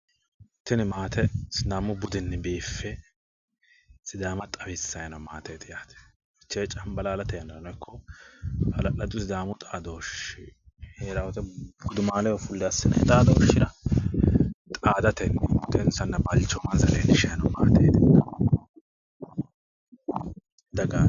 Tini maate sidaamu budinni biiffe sidaama xawisayi noote maateeti yaate. Fichee cambalaallate yannarano ikko hala'ladu sidaamu xaadooshe heeraa wote gudumaaleho fulle assinayi xaadooshshira xaadatenni budensanna balchoomansa leellishayi noo maateetinna dagaati.